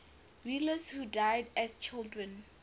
rulers who died as children